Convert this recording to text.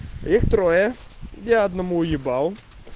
их трое я одному уебал